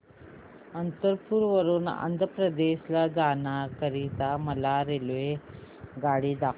अनंतपुर वरून आंध्र प्रदेश जाण्या करीता मला रेल्वेगाडी दाखवा